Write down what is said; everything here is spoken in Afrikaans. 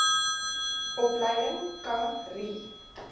opleiding kha ri